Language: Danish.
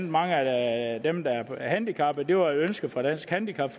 mange af dem der er handicappede det var et ønske fra dansk handicap